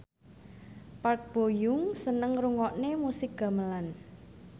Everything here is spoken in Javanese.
Park Bo Yung seneng ngrungokne musik gamelan